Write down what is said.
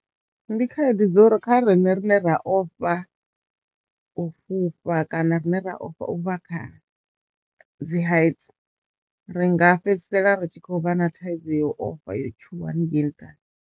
Ndi khaedu dzo u ri kha riṋe vhane ra ofha u fhufha kana rine ra ofha u vha kha dzi hight ri nga fhedzisela ri tshi khou vha na thaidzo ya ofha yo tshuwa haningei nṱhani.